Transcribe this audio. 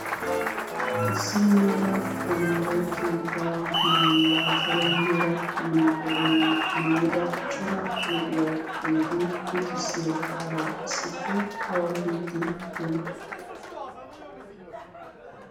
Issi mala tamare keettaa maayuwa salo meraa yunuformmiyaa maayyida cora luxiyaageeti luxissiyaagara issippe awa biiddi diyoona?